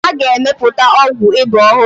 A ga-emepụta ọgwụ ịba ọhụrụ.